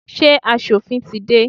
Ṣé asòfin tí dé?